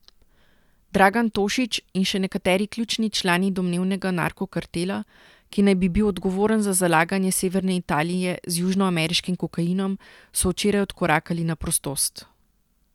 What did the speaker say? Dragan Tošić in še nekateri ključni člani domnevnega narkokartela, ki naj bi bil odgovoren za zalaganje severne Italije z južnoameriškim kokainom, so včeraj odkorakali na prostost.